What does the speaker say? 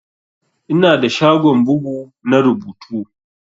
Ina da shagon bugu na rubutu.